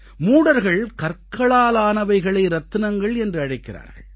மூடர்கள் கற்களாலானவைகளை ரத்தினங்கள் என்று அழைக்கிறார்கள்